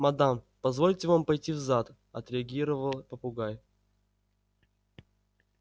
мадам позвольте вам пойти в зад отреагировал попугай